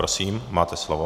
Prosím, máte slovo.